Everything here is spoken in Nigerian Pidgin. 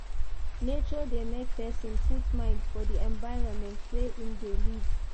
Nature de make persin put mind for di environment wey im de live